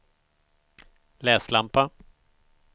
läslampa